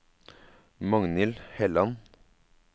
Magnhild Helland